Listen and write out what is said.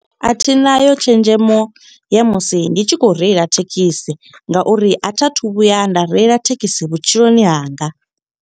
A thi nayo tshenzhemo ya musi ndi tshi khou reila thekhisi, nga uri a thi a thu vhuya nda reila thekhisi vhutshiloni hanga.